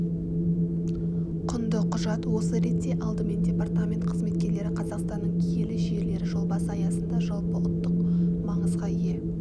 құнды құжат осы ретте алдымен департамент қызметкерлері қазақстанның киелі жерлері жобасы аясында жалпыұлттық маңызға ие